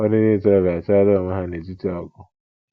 Ụfọdụ ndị ntorobịa achọala ọnwe ha n'etiti ọgụ!